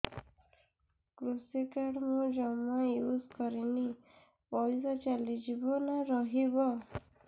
କୃଷି କାର୍ଡ ମୁଁ ଜମା ୟୁଜ଼ କରିନି ପଇସା ଚାଲିଯିବ ନା ରହିବ